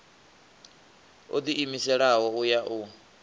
o ḓiimiselaho u ya u